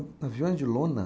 Aviões de lona?